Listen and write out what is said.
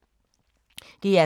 DR K